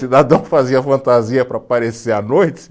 Cidadão fazia fantasia para aparecer à noite.